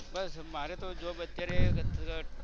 બસ મારે તો job અત્યારે